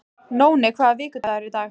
Nóni, hvaða vikudagur er í dag?